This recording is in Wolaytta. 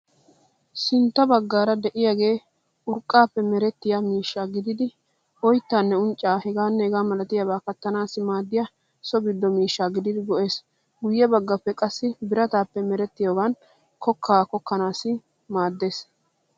Sintta baggaara de'iyaage urqaaappe merettiya miishsha gididi oyttaanne unccaa h.h.m kattanaassi maaddiya so giddo miishsha gididi go'ees. Guyye baggaage qassi birataape merettiyogan kokkaa kokkanaassi maaddeees.